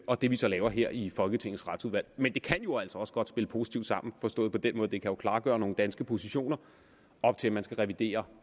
og det vi så laver her i folketingets retsudvalg men det kan jo altså også godt spille positivt sammen forstået på den måde det kan klargøre nogle danske positioner op til at man skal revidere